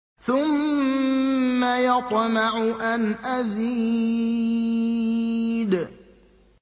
ثُمَّ يَطْمَعُ أَنْ أَزِيدَ